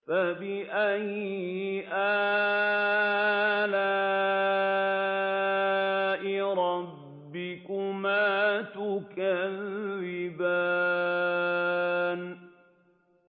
فَبِأَيِّ آلَاءِ رَبِّكُمَا تُكَذِّبَانِ